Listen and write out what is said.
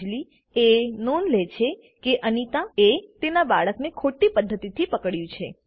અંજલીએ નોંધલે છે કે અનીતા એ તેના બાળકને ખોટી પદ્ધતીથી પકડ્યું છે